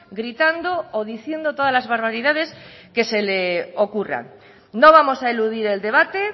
gritando o diciendo todas las barbaridades que se le ocurran no vamos a eludir el debate